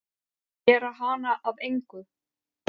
Gera hana að engu.